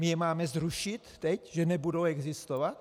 My je máme zrušit teď, že nebudou existovat?